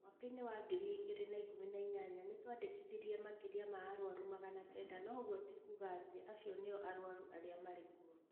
Mwaka-inĩ wa 2018 nĩ twandikithirie makĩria ma aruaru magana kenda no ũguo ti kuuga atĩ acio no o arũaru aria marĩ kuo.